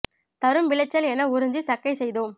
தரும்விளைச்சல் எனஉறிஞ்சி சக்கை செய்தோம்